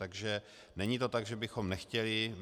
Takže není to tak, že bychom nechtěli.